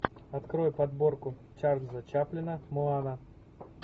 открой подборку чарльза чаплина моана